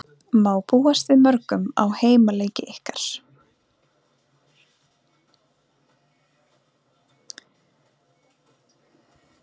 Tvær gamlar konur bjuggu saman ekki langt frá bókasafninu.